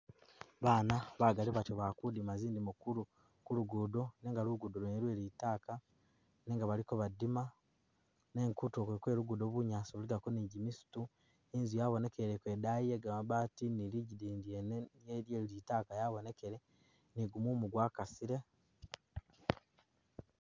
Bana bagali bati bakudima zindimo ku luguudo nenga luguudo lwene lwe litaka nenga baliko badima nenga kutulo kwene kwe lugudo bunyaasi buligako ni jimisitu inzu yabonekeleko edayi ye gamabati ni lidigini lyene litaka lya’bonekele ni gumumu gwa kasile.